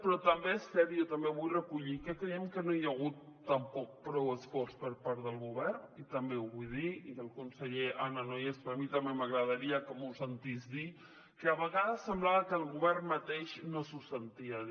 però també és cert i jo també ho vull recollir que creiem que no hi ha hagut tampoc prou esforç per part del govern i també ho vull dir el conseller ara no hi és però a mi també m’agradaria que m’ho sentís dir que a vegades semblava que el govern mateix no s’ho sentia dir